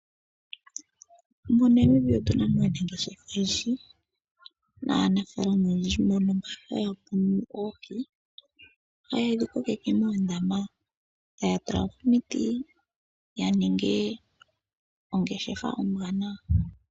MoNamibia otuna mo aanageshefa yoohi nanafalama oyendji mboka haya munu oohi haya dhikokeke moondama taya tulamo omiti yaninge ongeshefa ombwaanawa.